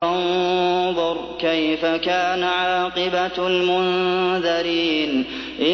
فَانظُرْ كَيْفَ كَانَ عَاقِبَةُ الْمُنذَرِينَ